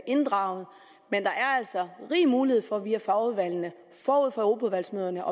inddraget men der er altså rig mulighed for via fagudvalgene forud for europaudvalgsmøderne